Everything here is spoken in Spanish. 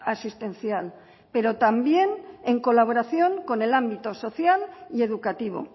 asistencial pero también en colaboración con el ámbito social y educativo